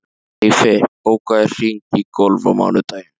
Eyfi, bókaðu hring í golf á mánudaginn.